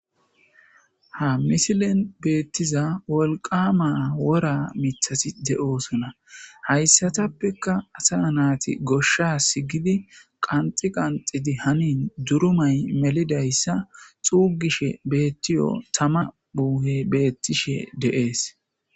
Ha misilen beettiza wolqama wora mithasi de'osona hayssatappeka asa naati goshsha sigidi qanxi qanxidi hanin durumay melidayssa xuugishe beettiyo tama muuhe beettishe deees.